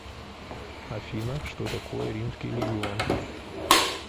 афина что такое римский легион